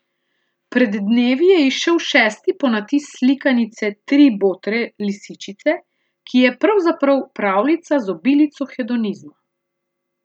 Pred dnevi je izšel šesti ponatis slikanice Tri botre lisičice, ki je pravzaprav pravljica z obilico hedonizma.